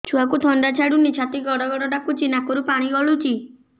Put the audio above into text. ଛୁଆକୁ ଥଣ୍ଡା ଛାଡୁନି ଛାତି ଗଡ୍ ଗଡ୍ ଡାକୁଚି ନାକରୁ ପାଣି ଗଳୁଚି